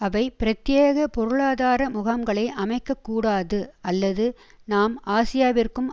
அவை பிரத்தியேக பொருளாதார முகாம்களை அமைக்கக்கூடாது அல்லது நாம் ஆசியாவிற்கும்